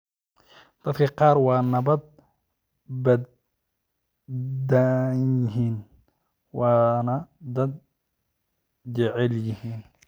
Dadka qaar waa nabad badanyihin wana dad jecelyihin.